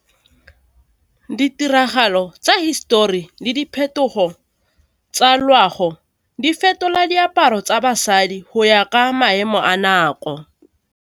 Ditiragalo tsa hisetori le diphetogo tsa loago di fetola diaparo tsa basadi go ya ka maemo a nako.